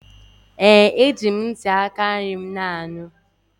Ee! Eji m ntị aka nri m na-anụ.